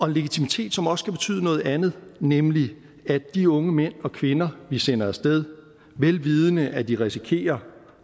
en legitimitet som også kan betyde noget andet nemlig at de unge mænd og kvinder vi sender af sted velvidende at de risikerer